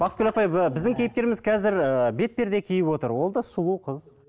бақытгүл апай біздің кейіпкеріміз қазір ыыы бетперде киіп отыр ол да сұлу қыз